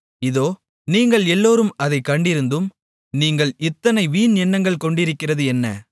இதோ நீங்கள் எல்லோரும் அதைக் கண்டிருந்தும் நீங்கள் இத்தனை வீண் எண்ணங்கொண்டிருக்கிறது என்ன